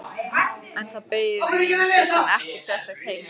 En það beið mín svo sem ekkert sérstakt heima.